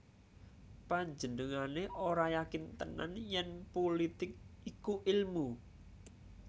Panjenengané ora yakin tenan yèn pulitik iku ilmu